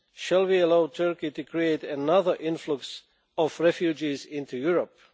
Shall we allow Turkey to create another influx of refugees into Europe?